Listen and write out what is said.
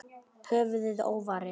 Höfuðið óvarið.